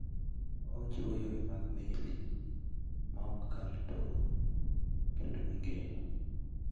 Ochiwo yore mag meli maok kal tong' kendo migeno.